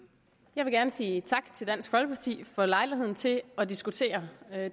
jeg vil gerne sige tak til dansk folkeparti for lejligheden til at diskutere